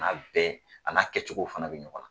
bana bɛɛ a n'a kɛcogo fana bɛ ɲɔgɔn na.